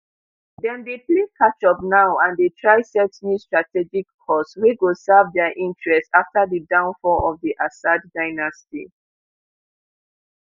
dem dey play catch up now and dey try set new strategic course wey go serve dia interests afta di downfall of di assad dynasty